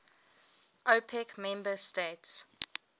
opec member states